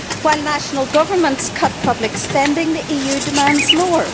While national governments cut public spending, the EU demands more.